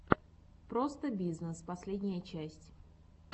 простобизнесс последняя часть